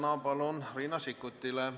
Palun!